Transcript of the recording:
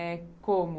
É. Como?